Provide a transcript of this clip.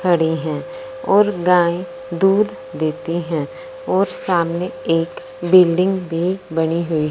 खड़ी हैं और गाय दूध देती हैं और सामने एक बिल्डिंग भी बनी हुई --